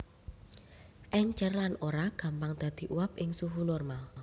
Èncèr lan ora gampang dadi uap ing suhu normal